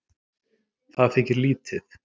Það þykir lítið